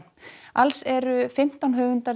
alls eru fimmtán höfundar